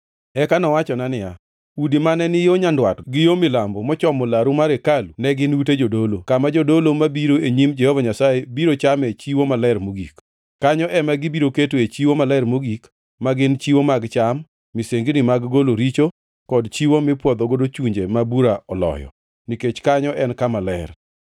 Eka nowachona niya, “Udi mane ni yo nyandwat gi yo milambo mochomo laru mar hekalu ne gin ute jodolo, kama jodolo mabiro e nyim Jehova Nyasaye biro chame chiwo maler mogik. Kanyo ema gibiro ketoe chiwo maler mogik, ma gin chiwo mag cham, misengini mag golo richo kod chiwo mipwodhogo chunje ma bura oloyo, nikech kanyo en kama ler.